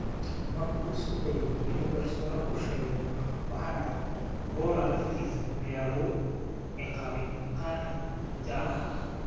Markii uu isku dayay inuu garsooraha u sheego waxa dhacay, Voller laftiisa ayaa lagu ciqaabay kaarka jaalaha ah.